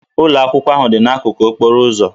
Ụlọ akwụkwọ ahụ dị n'akụkụ okporo ụzọ